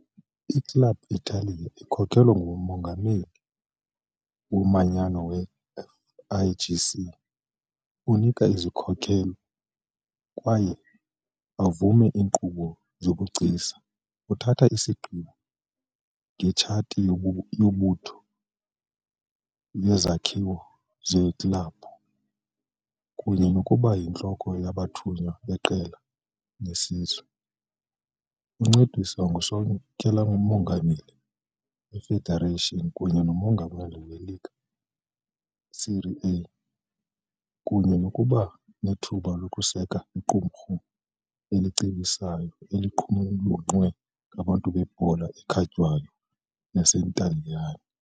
I-Club Italia ikhokelwa ngumongameli womanyano we- FIGC, onika izikhokelo kwaye avume iinkqubo zobugcisa, uthatha isigqibo ngetshathi yombutho yezakhiwo zeklabhu, kunye nokuba yintloko yabathunywa beqela lesizwe A. Uncediswa ngusekela-mongameli we-federation kunye nomongameli we- Lega Serie A, kunye nokuba nethuba lokuseka iqumrhu elicebisayo eliqulunqwe ngabantu bebhola ekhatywayo yaseNtaliyane.